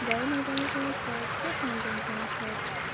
да иногда не замечают всех иногда не замечают